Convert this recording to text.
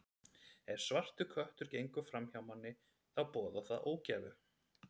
Ef svartur köttur gengur fram hjá manni, þá boðar það ógæfu.